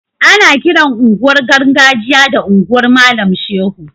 Ana kiran unguwar gargajiya da unguwar malam shehu